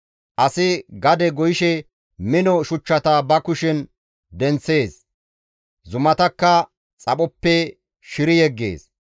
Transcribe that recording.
Asi gade goyishe mino shuchchata ba kushen denththees; zumatakka xaphoppe shiri yeggees.